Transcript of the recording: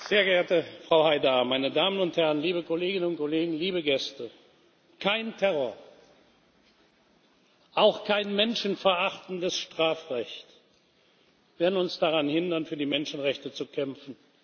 Sehr geehrte Frau Haidar, meine Damen und Herren, liebe Kolleginnen und Kollegen, liebe Gäste! Kein Terror, auch kein menschenverachtendes Strafrecht werden uns daran hindern, für die Menschenrechte zu kämpfen.